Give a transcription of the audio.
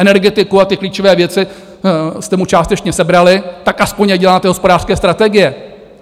Energetiku a ty klíčové věci jste mu částečně sebrali, tak aspoň ať dělá ty hospodářské strategie!